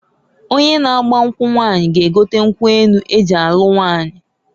Onye na agba nkwu nwaanyi g'egote nkwu enu eji alu nwaanyi.